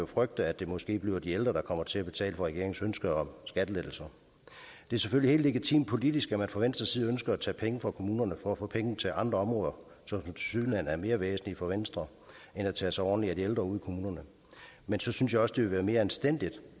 frygte at det måske bliver de ældre der kommer til at betale for regeringens ønske om skattelettelser det er selvfølgelig helt legitimt politisk at man fra venstres side ønsker at tage penge fra kommunerne for at få penge til andre områder som tilsyneladende er mere væsentlige for venstre end at tage sig ordentligt af de ældre ude i kommunerne men så synes jeg også det vil være mere anstændigt